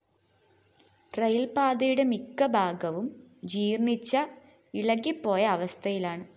റയില്‍പാതയുടെ മിക്കഭാഗവും ജീര്‍ണിച്ച് ഇളകിപോയ അവസ്ഥയിലാണ്